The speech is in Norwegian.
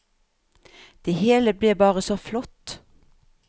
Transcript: Det hele ble bare så flott.